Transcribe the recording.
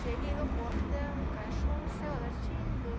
Cheguei no portão, o cachorro saiu latindo.